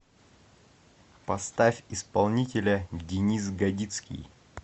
поставь исполнителя денис годицкий